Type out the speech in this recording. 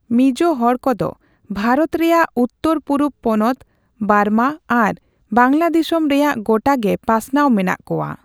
ᱢᱤᱡᱳ ᱦᱚᱲ ᱠᱚᱫᱚ ᱵᱷᱟᱨᱚᱛ ᱨᱮᱭᱟᱜ ᱩᱛᱛᱟᱹᱨ ᱯᱩᱨᱩᱵᱽ ᱯᱚᱱᱚᱛ, ᱵᱟᱨᱢᱟ ᱟᱨ ᱵᱟᱝᱞᱟᱫᱤᱥᱚᱢ ᱨᱮᱭᱟᱜ ᱜᱚᱴᱟ ᱜᱮ ᱯᱟᱥᱱᱟᱣ ᱢᱮᱱᱟᱜ ᱠᱚᱣᱟ ᱾